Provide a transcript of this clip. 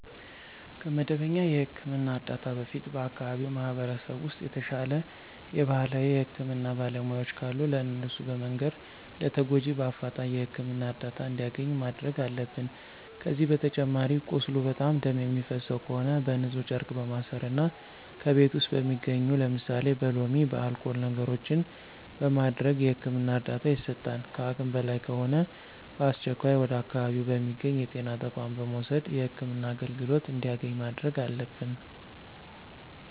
ከመደበኛ የህክምና እርዳታ በፊት በአከባቢው ማህበረሰብ ውስጥ የተሻለ የባህላዊ የህክምና ባለሙያዎች ካሉ ለእነሱ በመንገር ለተጎጁ በአፍጣኝ የህክምና እርዳታ እንዲያገኝ ማድረግ አለብን። ከዚህ በተጨማሪ ቁስሉ በጣም ደም የሚፈሰው ከሆነ በንፁህ ጨርቅ በማሰር እና ከቤት ውስጥ በሚገኙ ለምሳሌ በሎሚ፣ በአልኮል ነገሮችን በማድረግ የህክምና እርዳታ ይሰጣል። ከአቅም በላይ ከሆነ በአስቸኳይ ወደ አካባቢው በሚገኙ የጤና ተቋማት በመውሰድ የህክምና አገልግሎት እንዲያገኝ ማድረግ አለብን።